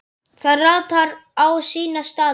Það ratar á sína staði.